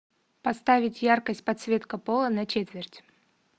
поставить яркость подсветка пола на четверть